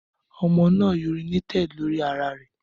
Ọmọ naa urinated lori ara rẹ